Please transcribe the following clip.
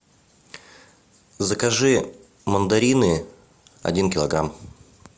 закажи мандарины один килограмм